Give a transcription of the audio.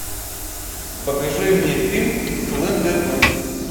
покажи мне фильм слендермен